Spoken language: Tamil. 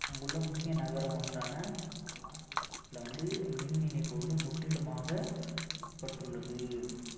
அங்குள்ள முக்கிய நகரம் ஒன்றான லாஸ் ஏஞ்செல்ஸ்ல வந்து மின் இணைப்பு முற்றிலுமாக துண்டிக்கப்பட்டுள்ளது